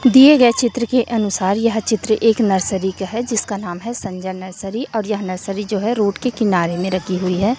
दिए गए चित्र के अनुसार यह चित्र एक नर्सरी का है जिसका नाम है संजय नर्सरी और यह नर्सरी जो है रोड के किनारे में रखी हुई है।